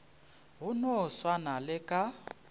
go no swana le ka